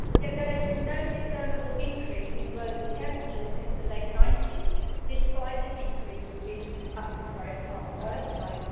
Yet there has been no discernible increase in global temperatures since the late 90s, despite an increase in atmospheric carbon dioxide.